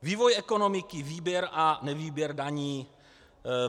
Vývoj ekonomiky, výběr a nevýběr daní.